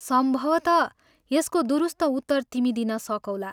सम्भवतः यसको दुरुस्त उत्तर तिमी दिन सकौला।